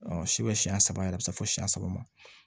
Ɔ si bɛ siɲɛ saba yɛrɛ bɛ se fo siɲɛ saba ma